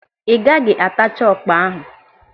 Ị gaghị atacha ọkpa ahụ.